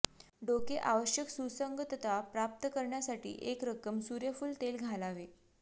डोके आवश्यक सुसंगतता प्राप्त करण्यासाठी एक रक्कम सूर्यफूल तेल घालावे